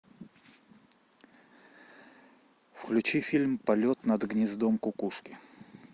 включи фильм полет над гнездом кукушки